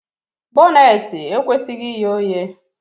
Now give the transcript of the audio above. Bọneetị ekwesịghị ighe oghe